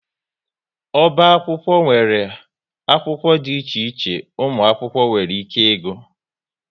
Oba akwụkwọ nwere akwụkwọ dị iche iche ụmụ akwụkwọ nwere ike ịgụ